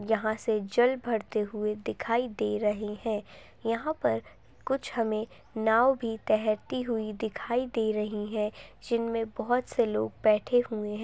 यहाँ से जल भरते हुए दिखाई दे रहे हैं यहाँ पर कुछ हमें नाव भी तैरती हुई दिखाई दे रही हैं जिनमें बहुत से लोग बैठे हुए हैं।